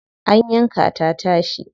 An yanka ta tashi.